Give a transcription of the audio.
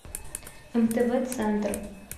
мтв центр